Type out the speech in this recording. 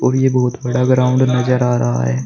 और ये बहुत बड़ा ग्राउंड नजर आ रहा है।